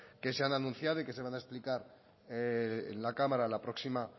que se han anunciado y que se van a explicar en la cámara la próxima